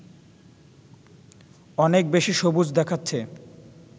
অনেক বেশি সবুজ দেখাচ্ছে